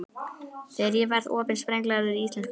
Þegar ég verð orðin sprenglærður íslenskufræðingur.